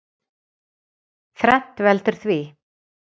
Þrennt veldur því.